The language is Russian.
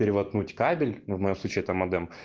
перевоткнуть кабель в моем случае это мадем